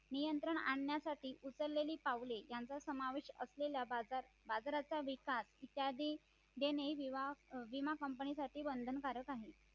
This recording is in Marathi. नियंत्रण आणण्यासाठी उचललेली पावले यांचा समावेश असलेला बाजारचा विकास इत्यादी देणे विमा company साठी बंधनकारक आहे